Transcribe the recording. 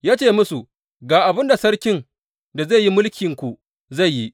Ya ce musu, Ga abin da sarkin da zai yi mulkinku zai yi.